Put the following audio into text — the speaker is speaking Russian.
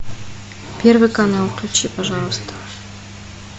первый канал включи пожалуйста